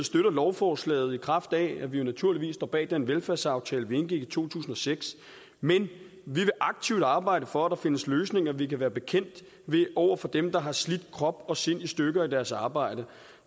støtter lovforslaget i kraft af at vi jo naturligvis står bag den velfærdsaftale vi indgik i to tusind og seks men vi vil aktivt arbejde for at der findes løsninger vi kan være bekendt over for dem der har slidt krop og sind i stykker i deres arbejde